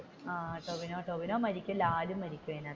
ആഹ് ടോവിനോ മരിക്കും പിന്നെ ലാലും മരിക്കും അതിനകത്ത്,